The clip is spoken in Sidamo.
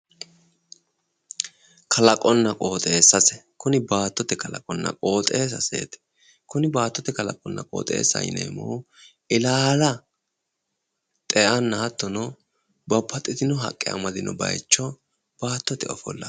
Kalaqonna qooxeessase. Kuni baattote kalaqonna. qooxeessaseeti. kuni baattote kalaqaminna qooxeessaseeti yineemmohu ilaala xeanna hattono babbaxxitino haqqe amadino bayicho qooxeessaho